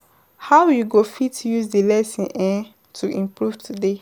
How you go fit use di lesson um to improve today?